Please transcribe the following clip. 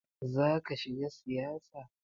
Zaka shiga siyasa?